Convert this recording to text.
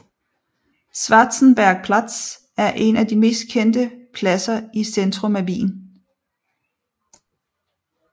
Schwarzenbergplatz er en af de mest kendte pladser i centrum af Wien